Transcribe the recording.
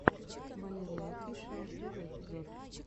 валерияофишиал первый эпизод